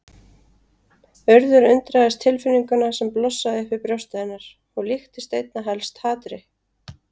Urður undraðist tilfinninguna sem blossaði upp í brjósti hennar, hún líktist einna helst hatri.